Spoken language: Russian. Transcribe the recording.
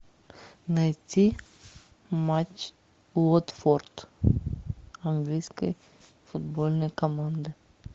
найти матч уотфорд английской футбольной команды